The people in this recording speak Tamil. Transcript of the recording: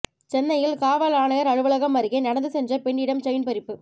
சென்னையில் காவல் ஆணையர் அலுவலகம் அருகே நடந்து சென்ற பெண்ணிடம் செயின் பறிப்பு